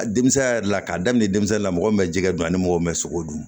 A denmisɛnninya yɛrɛ la k'a daminɛ denmisɛnnin la mɔgɔ min bɛ jɛgɛ dun ani mɔgɔ min bɛ sogo dun